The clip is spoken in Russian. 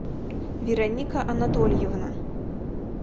вероника анатольевна